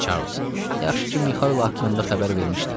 Yaxşı ki, Mixail haqqında xəbər vermişdin.